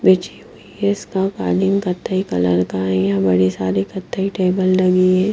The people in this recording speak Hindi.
बिछी हुई हैइसका कालीन कत्थई कलर का है य बड़े सारे कत्थई टेबल लगे है।